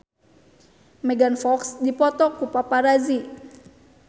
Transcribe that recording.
Megan Fox dipoto ku paparazi